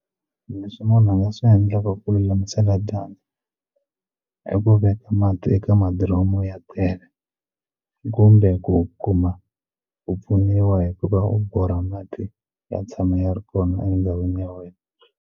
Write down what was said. Leswi munhu a nga swi endlaka ku lulamisela dyandza i ku veka mati eka madiromu ya tele kumbe ku u kuma ku pfuniwa hikuva u borha mati ya tshama ya ri kona endhawini ya wena.